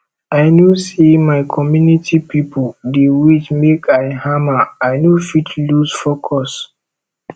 i know sey my community pipu dey wait make i hama i no fit loose focus